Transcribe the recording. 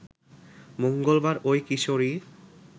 মঙ্গলবার ওই কিশোরী